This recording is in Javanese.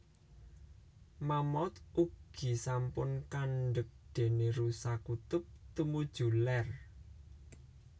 Mammaouth ugi sampun kandeg déné rusa kutub tumuju lèr